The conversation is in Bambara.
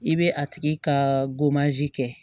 I bɛ a tigi ka kɛ